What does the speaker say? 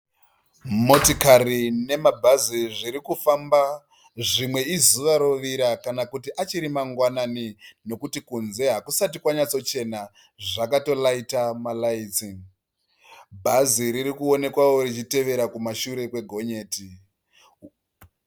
Motikari nemabhazi zvirikufamba zvimwe izuva rovira kana kuti achiri mangwanani nokuti kunze hakusati kwanyatsochena. Zvakato raita ma raitsi. Bhazi ririkuonekwao richitevera kumashure kwe gonyeti.